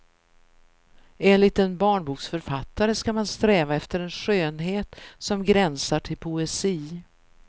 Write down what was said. Enligt en barnboksförfattare ska man sträva efter en skönhet som gränsar till poesi.